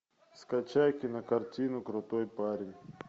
скачай кинокартину крутой парень